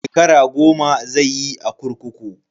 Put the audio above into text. Shekara goma zai yi a kurkuku.